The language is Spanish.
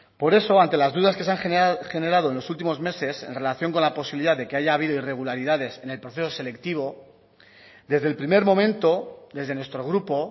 por eso ante las dudas que se han generado en los últimos meses en relación con la posibilidad de que haya habido irregularidades en el proceso selectivo desde el primer momento desde nuestro grupo